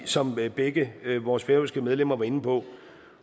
som begge vores færøske medlemmer var inde på